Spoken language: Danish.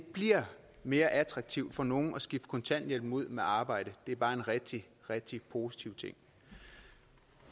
bliver mere attraktivt for nogle at skifte kontanthjælpen ud med arbejde er bare en rigtig rigtig positiv ting